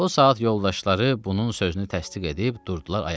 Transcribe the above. O saat yoldaşları bunun sözünü təsdiq edib durdular ayağa.